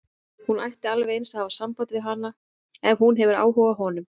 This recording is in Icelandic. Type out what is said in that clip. Hún ætti alveg eins að hafa samband við hann ef hún hefur áhuga á honum.